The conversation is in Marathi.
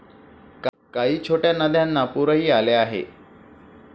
काही छोट्या नद्यांना पुरही आले आहे.